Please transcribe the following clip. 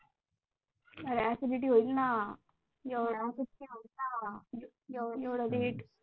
अरे Acidity होईल ना, एवढ्या late हम्म